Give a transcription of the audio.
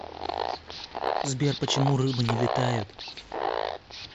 сбер почему рыбы не летают